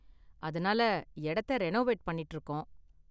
அதனால இடத்த ரெனோவேட் பண்ணிட்டு இருக்கோம்.